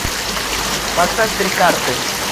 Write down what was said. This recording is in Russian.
поставь три карты